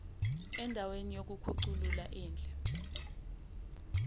andaweni yokukhuculula indle